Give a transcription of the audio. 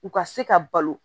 U ka se ka balo